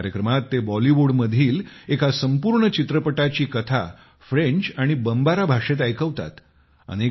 या कार्यक्रमात ते बॉलीवूडमधील एका संपूर्ण चित्रपटाची कथा फ्रेंच आणि बमबारा भाषेत ऐकवतात